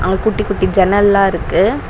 அங்க குட்டி குட்டி ஜன்னல்லா இருக்கு.